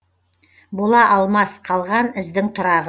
бола алмас қалған іздің тұрағы